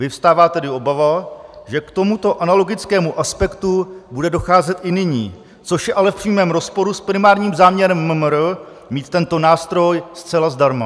Vyvstává tedy obava, že k tomuto analogickému aspektu bude docházet i nyní, což je ale v přímém rozporu s primárním záměrem MMR mít tento nástroj zcela zdarma.